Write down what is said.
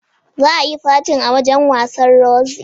Zaa yi fatin a wajan wasan Roxy